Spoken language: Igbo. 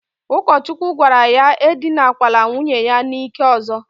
Ukochukwu gwara ya edinakwala nwunye ya n'ike ozo.